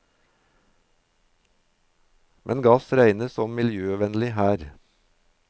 Men gass regnes som miljøvennlig her.